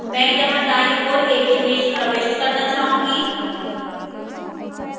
मैं यहाँ दाईं ओर एक image प्रविष्ट करना चाहूंगी